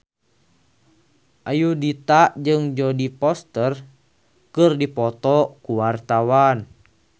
Ayudhita jeung Jodie Foster keur dipoto ku wartawan